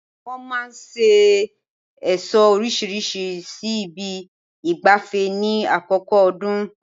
Wọ́n máa ṣe ẹ̀ṣọ́ orísirísi sí ibi ìgbafẹ́ ní àkókò ọdún